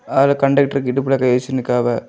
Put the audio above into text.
அதுல கண்டக்டர்க்கு இடுப்புல கைவெச்சு நிக்காவ.